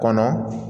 Kɔnɔ